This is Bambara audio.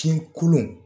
Fin kolon